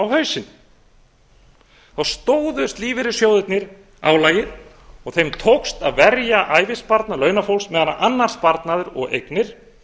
á hausinn þá stóðust lífeyrissjóðirnir álagið og þeim tókst að verja ævisparnað launafólks meðan annar sparnaður og eignir